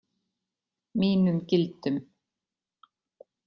Mínum gildum.